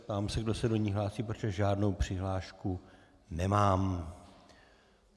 Ptám se, kdo se do ní hlásí, protože žádnou přihlášku nemám.